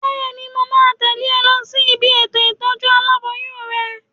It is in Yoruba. Bẹ́ẹ̀ni, mo máa tẹ̀lé ọ lọ sí ibi ètò ìtọ́jú aláboyún rẹ